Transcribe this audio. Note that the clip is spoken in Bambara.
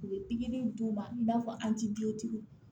U bɛ pikiri in d'u ma i n'a fɔ